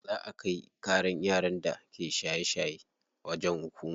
Za a kai ƙaran yaran da suke shaye shaye wajen hukuma.